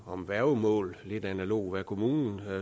om værgemål lidt analogt med hvad kommunen